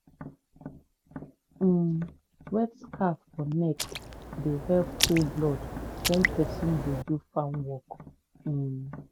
um wet scarf for neck dey help cool blood when person dey do farm work. um